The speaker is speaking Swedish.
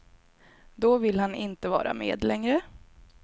Då vill han inte vara med längre.